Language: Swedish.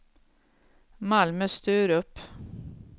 Malmö-Sturup